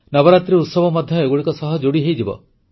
ନବରାତ୍ରୀ ଉତ୍ସବ ମଧ୍ୟ ଏଗୁଡ଼ିକ ସହ ଯୋଡ଼ି ହୋଇଯିବ